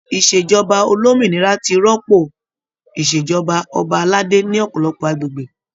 Ìṣèjọba olómìnira ti rọ́pò o Ìṣèjọba ọba aládé ní ọpọlọpọ agbègbè.